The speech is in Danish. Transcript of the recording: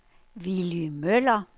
Willy Møller